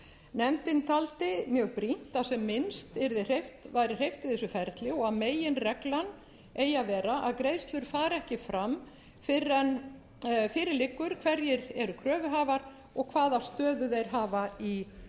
nefndin taldi mjög brýnt að sem minnst væri hreyft við þessu ferli og að meginreglan eigi að vera að greiðslur fari ekki fram fyrr en fyrir liggur hverjir eru kröfuhafar og hvaða stöðu þeir hafa í kröfuröðinni